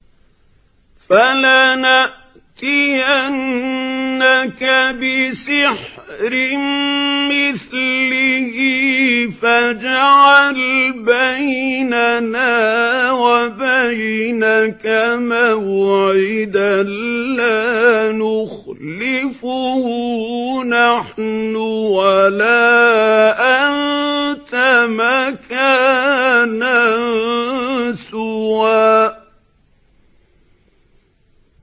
فَلَنَأْتِيَنَّكَ بِسِحْرٍ مِّثْلِهِ فَاجْعَلْ بَيْنَنَا وَبَيْنَكَ مَوْعِدًا لَّا نُخْلِفُهُ نَحْنُ وَلَا أَنتَ مَكَانًا سُوًى